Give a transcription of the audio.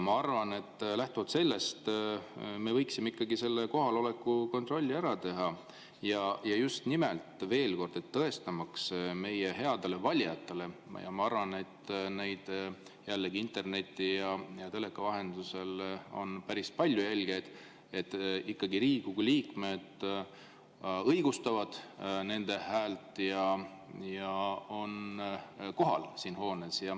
Ma arvan, et lähtuvalt sellest me võiksime ikkagi selle kohaloleku kontrolli ära teha, just nimelt, tõestamaks meie headele valijatele – ma arvan, et interneti ja teleka vahendusel on päris palju jälgijaid –, et Riigikogu liikmed ikkagi õigustavad nende ja on siin hoones kohal.